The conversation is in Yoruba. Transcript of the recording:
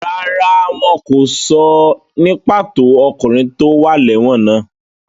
Rárá, wọn kò sọ ní pàtó ọkùnrin tó wà lẹ́wọ̀n náà.